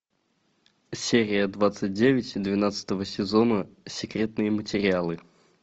серия двадцать девять двенадцатого сезона секретные материалы